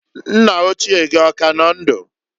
Nna ochie gị ọ ka nọ ndụ?